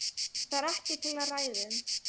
Það er ekkert til að ræða um.